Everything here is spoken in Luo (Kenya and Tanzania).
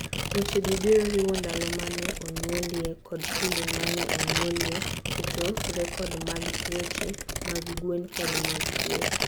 Wechegi biro riwo; Ndalo ma ne onyuolie kod kinde ma ne onyuolie, keto rekod mag tuoche mag gwen, kod mag kweth.